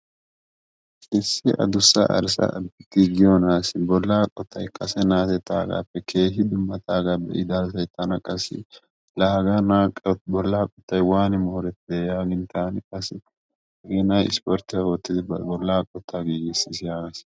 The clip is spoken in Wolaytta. Issi addussa arssa de'iyo naassi bolla qottay kase naatettagappe keehin dummataaga be'ida asay tana qassi la hagee naa bolla qottay waani moorettide yaagin taan qassi hagee nay isporttiyaa oottidi ba bolla qottaa giigissiis yagaas.